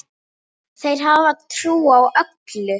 Þeir hafa trú á öllu.